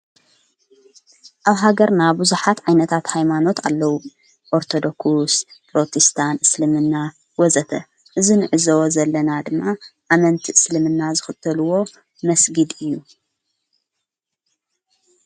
ኣብ ሃገርና ብዙኃት ዓይነታት ኃይማኖት ኣለዉ ኦርተዶክስ ፕሮቲስታንት እስልምና ወዘተ እዝንዕዝወ ዘለና ድማ ኣመንቲ እስልምና ዝኽተልዎ መስጊድ እዩ።